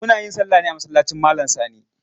Muna yin salla ne a masallacin malam Sani.